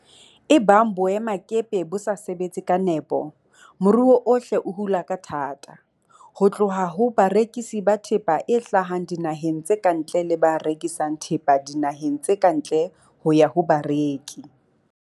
Ebang boemakepe bo sa sebetse ka nepo, moruo ohle o hula ka thata, ho tloha ho barekisi ba thepa e hlahang dinaheng tse ka ntle le ba rekisang thepa dinaheng tse ka ntle ho ya ho bareki.